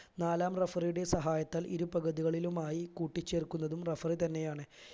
നാലാം referee യുടെ സഹായത്താൽ ഇരുപകുതികളിലുമായി കൂട്ടിച്ചേർക്കുന്നതും referee തന്നെയാണ്